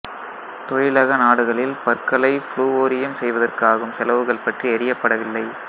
தொழிலக நாடுகளில் பற்களை ஃபுளுவோரியம் செய்வதற்கு ஆகும் செலவுகள் பற்றி அறியப்படவில்லை